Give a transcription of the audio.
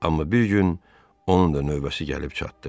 Amma bir gün onun da növbəsi gəlib çatdı.